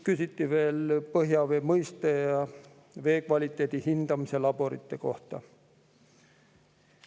Küsiti veel põhjavee mõiste ja veekvaliteedi hindamise laborite kohta.